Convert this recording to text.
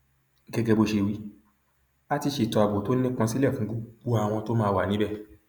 gẹgẹ bó ṣe wí a ti ṣètò ààbò tó nípọn sílẹ fún gbogbo àwọn tó máa wà níbẹ